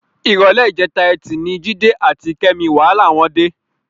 Ìrọ̀lẹ́ ìjẹta Ẹtì ni Jídé àti Kẹ́mi wàhálà wọn dé.